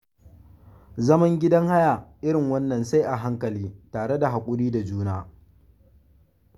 Zaman gidan haya irin wannan sai a hankali tare da haƙuri da juna.